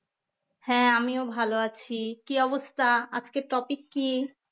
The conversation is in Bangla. হ্যাঁ আমিও ভালো আছি কি অবস্থা? আজকের topic কি